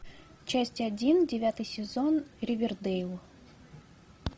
часть один девятый сезон ривердэйл